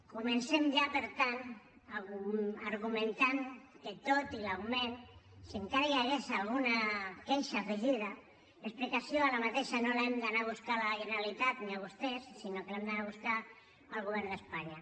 comencem ja per tant argumentant que tot i l’augment si encara hi hagués alguna queixa afegida l’explicació d’aquesta no l’hauríem d’anar a buscar a la generalitat ni a vostès sinó que l’hauríem d’anar a buscar al govern d’espanya